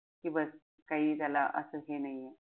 कि बस काई त्याला असं हे नाहीये.